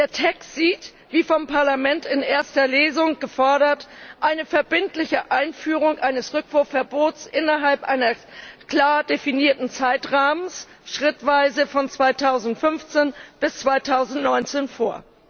Der Text sieht, wie vom Parlament in erster Lesung gefordert, eine verbindliche Einführung eines Rückwurfverbots innerhalb eines klar definierten Zeitrahmens schrittweise von 2015 bis 2019 vor.